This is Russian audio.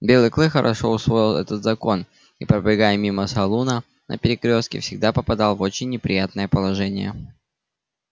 белый клык хорошо усвоил этот закон и пробегая мимо салуна на перекрёстке всегда попадал в очень неприятное положение